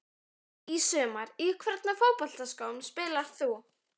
Í sumar Í hvernig fótboltaskóm spilar þú?